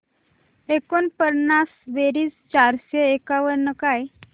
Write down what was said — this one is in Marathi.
एकोणपन्नास बेरीज चारशे एकावन्न काय